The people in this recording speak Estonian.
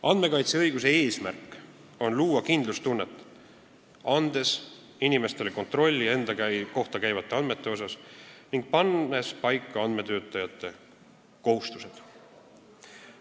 Andmekaitseõiguse eesmärk on luua kindlustunnet, andes inimestele kontrolli enda kohta käivate andmete üle ning pannes paika andmetöötlejate kohustused.